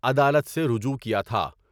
عدالت سے رجوع کیا تھا ۔